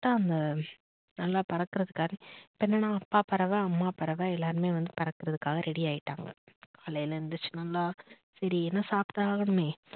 correct ஆ அந்த நல்லா பறக்குறதுக்காக இப்ப என்னன்னா அப்பா பறவை, அம்மா பறவை எல்லாருமே வந்து பறக்குறதுக்காக ready ஆயிட்டாங்க காலையில எந்திரிச்சு நல்லா சரி ஏதும் சாப்பிட்டாகனுமே